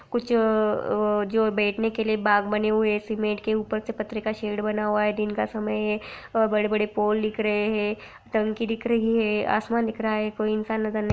कुछ अ-अ जो बैठने के लिए बाग बने हुए हैं सीमेंट के ऊपर से पत्थर का शेड बना हुआ है दिन का समय है बड़े-बड़े पोल दिख रहें हैं टंकी दिख रही है आसमान दिख रहा है कोई इंसान नजर नहीं --